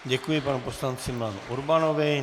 Děkuji panu poslanci Milanu Urbanovi.